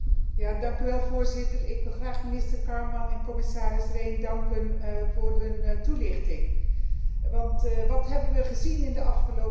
Voorzitter, ik wil graag minister Kármán en commissaris Rehn danken voor hun toelichting, want wat hebben we gezien in de afgelopen weken?